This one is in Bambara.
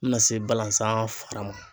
N bɛna se balasan fara ma.